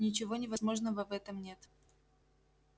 ничего невозможного в этом нет